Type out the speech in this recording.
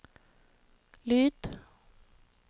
lyd